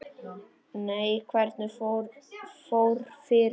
Nei, hvernig fór fyrir honum?